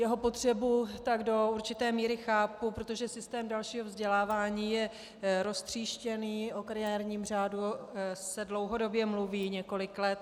Jeho potřebu tak do určité míry chápu, protože systém dalšího vzdělávání je roztříštěný, o kariérním řádu se dlouhodobě mluví několik let.